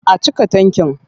A cika tankin.